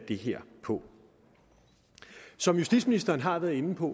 det her på som justitsministeren har været inde på